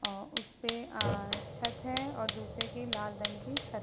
अ उसपे अ छत है और दूसरे की लाल रंग की छत --